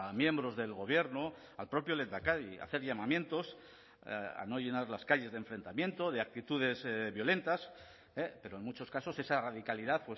miembros del gobierno al propio lehendakari a hacer llamamientos a no llenar las calles de enfrentamiento de actitudes violentas pero en muchos casos esa radicalidad